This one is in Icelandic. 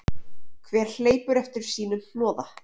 Hver hleypur eftir sínu hnoða.